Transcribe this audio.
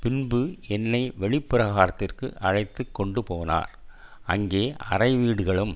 பின்பு என்னை வெளிப்பிராகாரத்துக்கு அழைத்துக்கொண்டுபோனார் அங்கே அறைவீடுகளும்